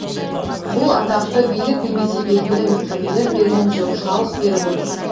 бұл атақты билік немесе белгілі мекемелер берген жоқ халық беріп отыр